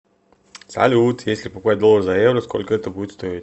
салют если покупать доллар за евро сколько это будет стоить